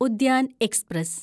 Udyan express